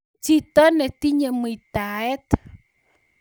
chito netinye muitaet